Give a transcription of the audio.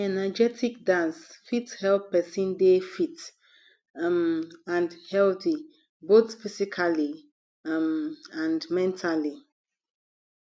energetic dance fit help person dey fit um and healthy both physically um and mentally